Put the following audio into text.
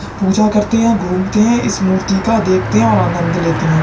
पूजा करते है। घूमते है। इस मूर्ति का देखते है और आनंद लेते है।